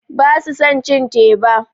Basu son cin teba.